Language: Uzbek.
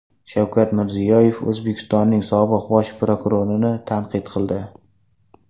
Shavkat Mirziyoyev O‘zbekistonning sobiq bosh prokurorini tanqid qildi .